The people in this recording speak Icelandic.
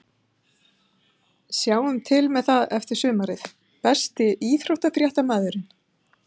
Sjáum til með það eftir sumarið Besti íþróttafréttamaðurinn?